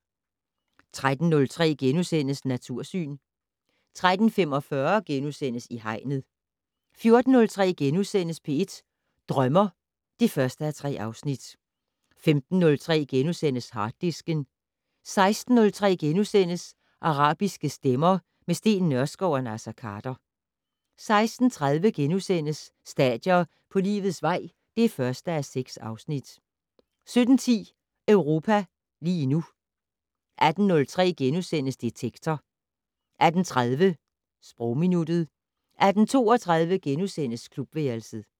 13:03: Natursyn * 13:45: I Hegnet * 14:03: P1 Drømmer (1:3)* 15:03: Harddisken * 16:03: Arabiske stemmer - med Steen Nørskov og Naser Khader * 16:30: Stadier på livets vej (1:6)* 17:10: Europa lige nu 18:03: Detektor * 18:30: Sprogminuttet 18:32: Klubværelset *